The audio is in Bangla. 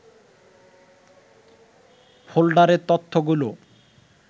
ফোল্ডারের তথ্যগুলো